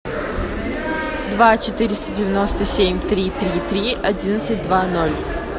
два четыреста девяносто семь три три три одиннадцать два ноль